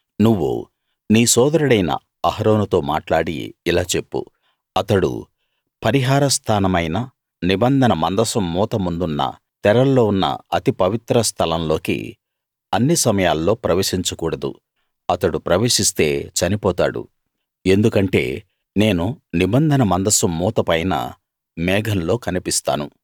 నువ్వు నీ సోదరుడైన అహరోనుతో మాట్లాడి ఇలా చెప్పు అతడు పరిహార స్థానమైన నిబంధన మందసం మూత ముందున్న తెరల్లో ఉన్న అతి పవిత్ర స్థలం లోకి అన్ని సమయాల్లో ప్రవేశించకూడదు అతడు ప్రవేశిస్తే చనిపోతాడు ఎందుకంటే నేను నిబంధన మందసం మూత పైన మేఘంలో కనిపిస్తాను